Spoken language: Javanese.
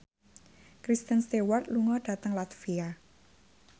Kristen Stewart lunga dhateng latvia